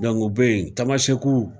Dɔnku u be ye taama seku